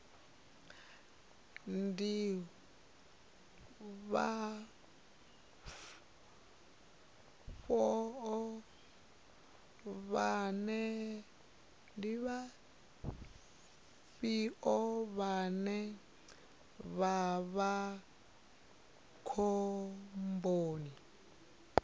ndi vhafhio vhane vha vha khomboni